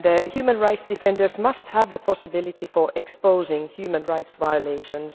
Human rights defenders must have the possibility to expose human rights violations.